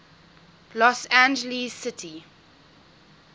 los angeles city